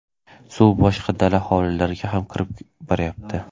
Suv boshqa dala hovlilarga ham kirib boryapti”.